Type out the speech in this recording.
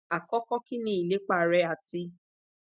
akọkọ kini ilepa rẹ ati